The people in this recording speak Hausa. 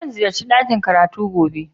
Zan ziyace dakin karatu gobe